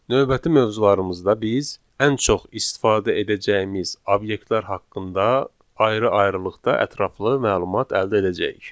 Növbəti mövzularımızda biz ən çox istifadə edəcəyimiz obyektlər haqqında ayrı-ayrılıqda ətraflı məlumat əldə edəcəyik.